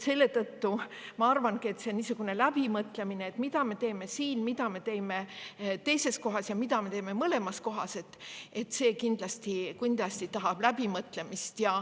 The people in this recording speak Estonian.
Selle tõttu ma arvangi, et see, mida me teeme, mida me teeme teises ja mida me teeme mõlemas kohas, tahab kindlasti läbi mõtlemist.